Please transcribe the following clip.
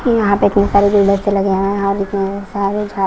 यहां पे इतने सारे गुलदस्ते लगे हैं और इतने सारे झा--